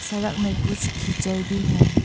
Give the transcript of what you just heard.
सड़क मे कुछ कीचड़ भी है।